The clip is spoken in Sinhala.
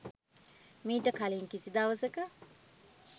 මීට කලින් කිසි දවසක